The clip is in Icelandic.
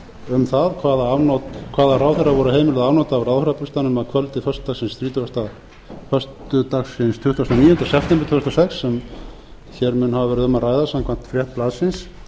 um það hvaða ráðherra voru heimiluð afnot af ráðherrabústaðnum að kvöldi föstudagsins tuttugasta og níunda september tvö þúsund og sex en hér mun hafa verið um að ræða samkvæmt frétt blaðsins